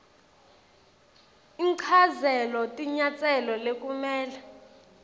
inchazelo tinyatselo lekumele